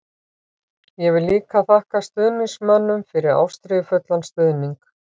Ég vil líka þakka stuðningsmönnum fyrir ástríðufullan stuðning.